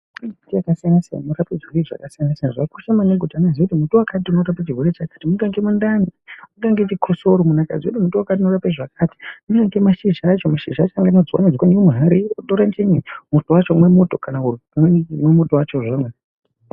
Kune michini yakasiyana siyana inorape zvirwere zvakasiyana siyana. Zvakakosha maningi kuti munhu aziye kuti muti wakati unorape chirwere chakati, kunyangwe mundani, kunyangwe chikosoro, munhu akaziye kuti muti wati unorape chirwere chakati, kunyangwe mashizha acho anotswanywe tswanywe muhari, wotore muto wacho womwa.